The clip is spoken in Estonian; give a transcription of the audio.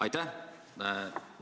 Aitäh!